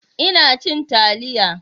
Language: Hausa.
Ina cin taliya.